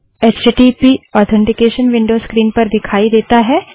HTTP authentication window screen पर दिखाई देता है